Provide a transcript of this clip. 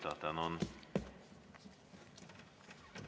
Tänan!